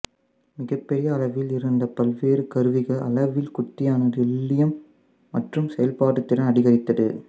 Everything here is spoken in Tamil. மிகப்பெரிய அளவில் இருந்த பல்வேறு கருவிகள் அளவில் குட்டியானதுதுல்லியம் மற்றும் செயல்பாட்டு திறன் அதிகரித்தது